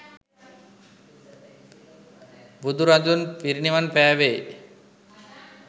බුදුරදුන් පිරිනිවන් පෑවේ